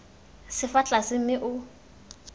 se fa tlase mme o